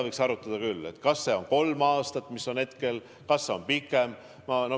Võiks arutada, kas see on kolm aastat, mis on hetkel, või kas see võiks olla pikem.